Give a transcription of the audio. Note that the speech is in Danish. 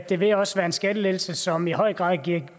det vil også være en skattelettelse som i høj grad bliver